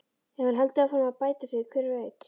Ef hann heldur áfram að bæta sig, hver veit?